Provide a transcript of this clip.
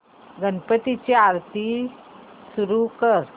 गणपती ची आरती सुरू कर